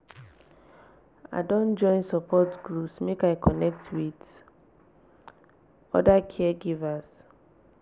i don join support group make i connect wit oda caregivers.